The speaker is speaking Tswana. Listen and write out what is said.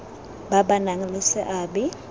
ba ba nang le seabe